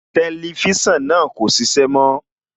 Tẹlifísàn náà kò ṣiṣẹ́ mọ́